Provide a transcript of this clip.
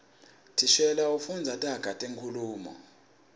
thishela ufundza taga tenkhulumo